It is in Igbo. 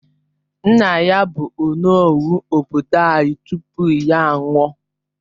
Nna ya bu onowu obodo anyi tupu ya nwụọ